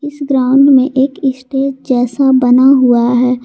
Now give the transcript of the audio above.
इस ग्राउंड में एक स्टेज जैसा बना हुआ है।